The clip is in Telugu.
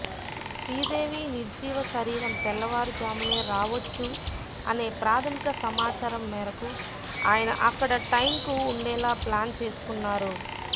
శ్రీదేవి నిర్జీవ శరీరం తెల్లవారుజామునే రావొచ్చు అనే ప్రాధమిక సమాచారం మేరకు ఆయన అక్కడ టైంకు ఉండేలా ప్లాన్ చేసుకున్నారు